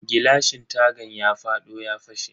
Gilashin tagan ya fado ya fashe.